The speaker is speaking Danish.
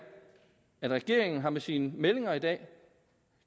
at regeringen med sine meldinger i dag